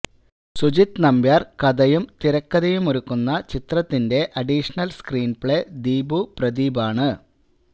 സുജിത് നമ്പ്യാര് കഥയും തിരക്കഥയുമൊരുക്കുന്ന ചിത്രത്തിന്റെ അഡിഷണല് സ്ക്രീന്പ്ലേ ദീപു പ്രദീപാണ്